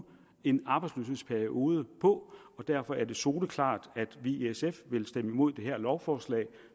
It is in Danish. en arbejdsløshedsperiode på og derfor er det soleklart at vi i sf vil stemme imod det her lovforslag